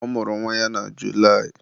ọ mụrụ nwa na Julaị